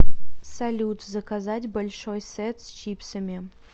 салют заказать большой сет с чипсами